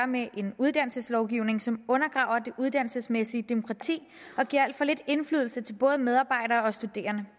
med en uddannelseslovgivning som undergraver det uddannelsesmæssige demokrati og giver al for lidt indflydelse til både medarbejdere og studerende